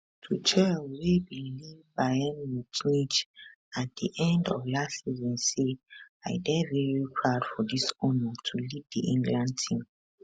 tuchel wey bin leave bayern munich at di end of last season say i dey very proud for dis honour to lead di england team